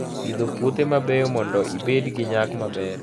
Pidho puothe mabeyo mondo ibed gi nyak maber